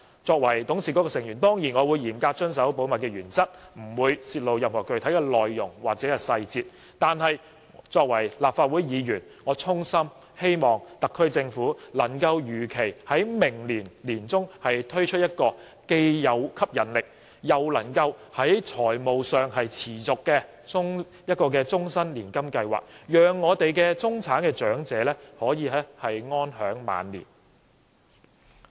作為董事局成員，我當然會嚴格遵守保密原則，不會泄露任何具體內容或細節，但作為立法會議員，我衷心希望特區政府能夠如期在明年年中推出這個既有吸引力，又能在財務上持續的終身年金計劃，讓中產長者可以安享晚年。